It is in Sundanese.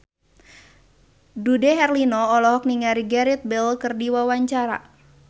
Dude Herlino olohok ningali Gareth Bale keur diwawancara